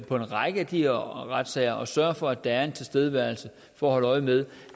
for en række af de her retssagers sørge for at der er en tilstedeværelse for at holde øje med